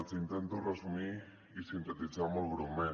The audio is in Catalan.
els intento resumir i sintetitzar molt breument